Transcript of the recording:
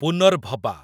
Punarbhaba